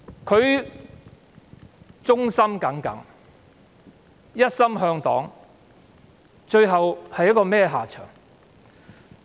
他忠心耿耿，一心向黨，最後落得如此下場。